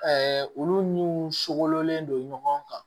olu n'u sogolonlen don ɲɔgɔn kan